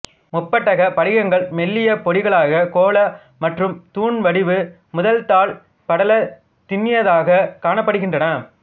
முப்பட்டகப் படிகங்கள் மெல்லிய பொடிகளாகக் கோலா மற்றும் தூண் வடிவு முதல் தாள்படலத் திண்ணியதாகக் காணப்படுகின்றன